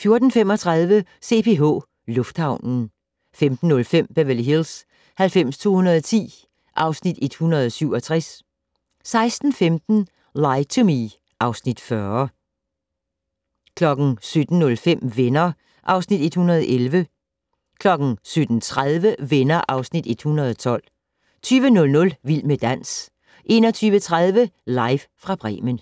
14:35: CPH Lufthavnen 15:05: Beverly Hills 90210 (Afs. 167) 16:15: Lie to Me (Afs. 40) 17:05: Venner (Afs. 111) 17:30: Venner (Afs. 112) 20:00: Vild med dans 21:30: Live fra Bremen